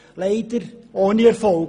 Leider alles ohne Erfolg.